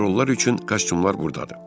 Həmin rollar üçün kostyumlar buradadır.